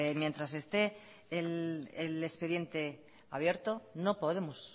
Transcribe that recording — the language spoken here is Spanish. mientras esté el expediente abierto no podemos